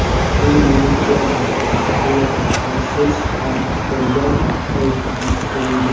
U, menimcha, mashg‘ulotlarsiz ham istalgan vazifani uddalaydi.